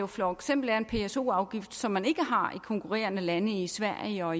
for eksempel en pso afgift som man ikke har i konkurrerende lande i sverige og